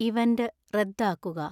event റദ്ദാക്കുക